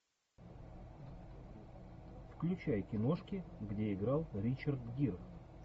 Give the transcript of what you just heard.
включай киношки где играл ричард гир